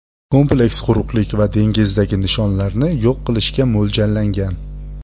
Kompleks quruqlik va dengizdagi nishonlarni yo‘q qilishga mo‘ljallangan.